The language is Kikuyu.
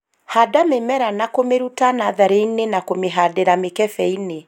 Handa mĩmera na kũmĩruta natharĩ-inĩ na kũmĩhandĩra mĩkebe-inĩ